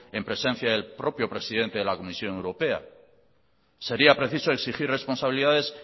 en presencia del propio presidente de la comisión europea sería preciso exigir responsabilidades